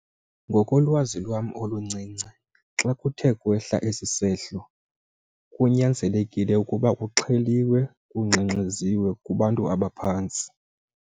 Ngokolwazi lwam oluncinci xa kuthe kwehla esi sehlo kunyanzelekile ukuba kuxheliwe, kungxengxeziwe kubantu abaphantsi.